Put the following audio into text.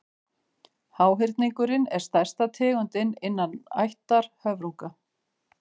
háhyrningurinn er stærsta tegundin innan ættar höfrunga